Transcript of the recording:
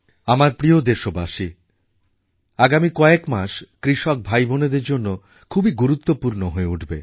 আমার প্রিয় দেশবাসী আগামী কয়েক মাস কৃষক ভাইবোনেদের জন্য খুবই গুরুত্বপূর্ণ হয়ে উঠবে